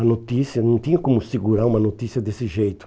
A notícia, não tinha como segurar uma notícia desse jeito.